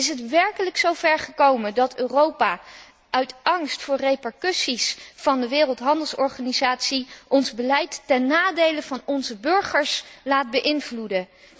Is het werkelijk zo ver gekomen dat Europa uit angst voor repercussies van de Wereldhandelsorganisatie ons beleid ten nadele van onze burgers laat beïnvloeden?